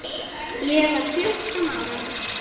Ég var fjórtán ára.